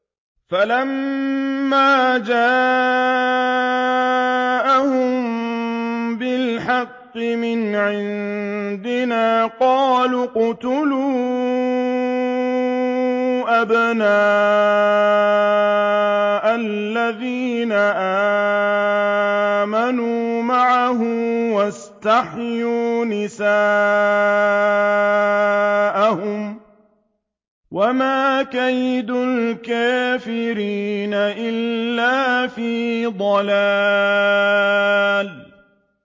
فَلَمَّا جَاءَهُم بِالْحَقِّ مِنْ عِندِنَا قَالُوا اقْتُلُوا أَبْنَاءَ الَّذِينَ آمَنُوا مَعَهُ وَاسْتَحْيُوا نِسَاءَهُمْ ۚ وَمَا كَيْدُ الْكَافِرِينَ إِلَّا فِي ضَلَالٍ